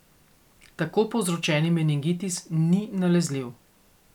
Tako povzročeni meningitis ni nalezljiv.